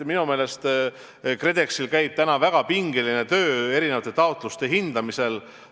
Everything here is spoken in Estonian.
Minu meelest KredExis käib väga pingeline töö taotluste hindamisel.